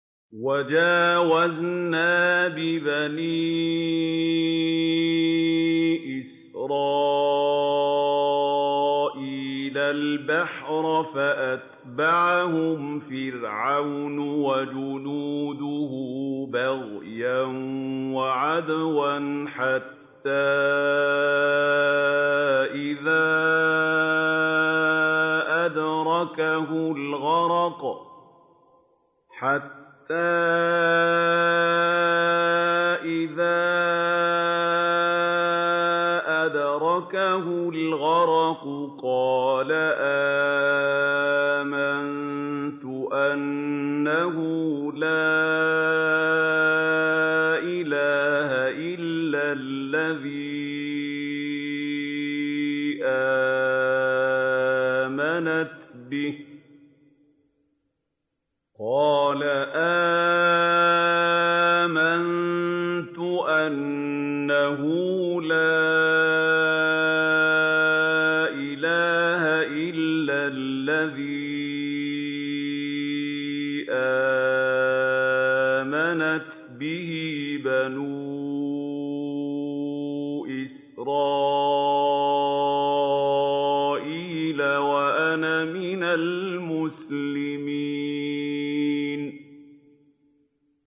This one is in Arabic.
۞ وَجَاوَزْنَا بِبَنِي إِسْرَائِيلَ الْبَحْرَ فَأَتْبَعَهُمْ فِرْعَوْنُ وَجُنُودُهُ بَغْيًا وَعَدْوًا ۖ حَتَّىٰ إِذَا أَدْرَكَهُ الْغَرَقُ قَالَ آمَنتُ أَنَّهُ لَا إِلَٰهَ إِلَّا الَّذِي آمَنَتْ بِهِ بَنُو إِسْرَائِيلَ وَأَنَا مِنَ الْمُسْلِمِينَ